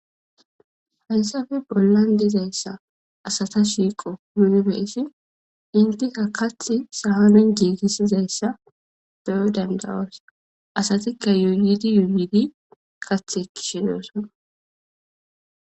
Haysappe bollan dizaysa asata shiiqo nuni be7ishin itika kaththi giigisizaysa be7o danda7oos. Asatika yuuyidi yuuyidi kaththi ekkishe de7osona.